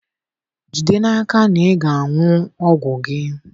Jide n'aka na ị na-aṅụ ọgwụ gị